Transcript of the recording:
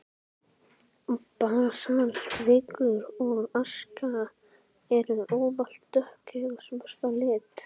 Basaltvikur og aska eru ávallt dökk eða svört að lit.